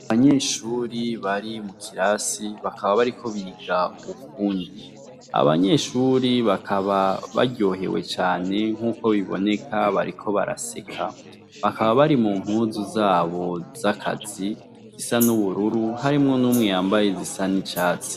Abanyeshuri bari mu kirasi bakaba bariko biga ubufundi, Abanyeshuri bakaba baryohewe cane nkuko biboneka bariko baraseka bakaba bari mu mpuzu zabo zakazi zisa n'ubururu harimwo n'umwe yambaye izisa n'icatsi.